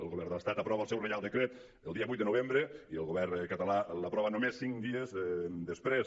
el govern de l’estat aprova el seu reial decret el dia vuit de novembre i el go·vern català l’aprova només cinc dies després